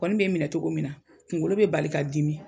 Kɔni be n minɛ togo min na kungolo be bali ka dimi